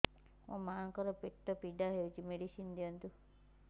ମୋ ମାଆଙ୍କର ପେଟ ପୀଡା ହଉଛି ମେଡିସିନ ଦିଅନ୍ତୁ